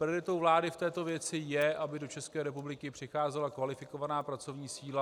Prioritou vlády v této věci je, aby do České republiky přicházela kvalifikovaná pracovní síla.